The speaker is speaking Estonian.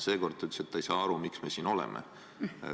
Seekord ta ütles, et ta ei saa aru, miks me siin oleme.